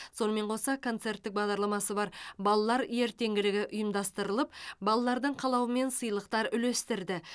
сонымен қоса концерттік бағдарламасы бар балалар ертеңгілігі ұйымдастырылып балалардың қалауымен сыйлықтар үлестірді